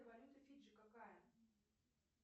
валюта фиджи какая